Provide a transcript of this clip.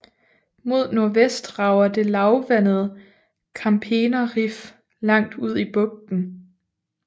Mod nordvest rager det lavvandede Wampener Riff langt ud i bugten